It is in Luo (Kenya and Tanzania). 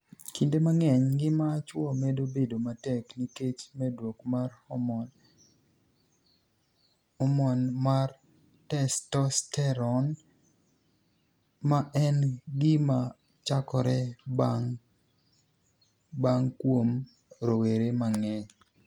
Kinide manig'eniy, nigima chwo medo bedo matek niikech medruok mar hormoni e mar testosteroni e, ma eni gima chakore banig'e kuom rowere manig'eniy.